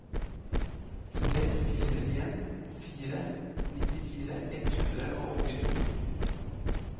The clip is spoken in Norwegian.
tre fire en fire nittifire ett hundre og åttito